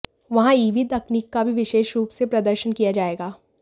वहां ईवी तकनीक का भी विशेष रूप से प्रदर्शन किया जाएगा